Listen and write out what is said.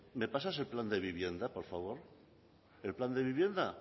me pasas el plan de vivienda por favor el plan de vivienda